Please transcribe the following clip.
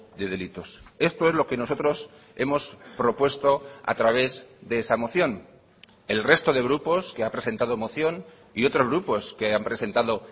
de delitos esto es lo que nosotros hemos propuesto a través de esa moción el resto de grupos que ha presentado moción y otros grupos que han presentado